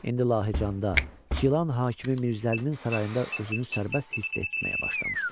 İndi Lahicanda Gilan hakimi Mirzəlinin sarayında özünü sərbəst hiss etməyə başlamışdı.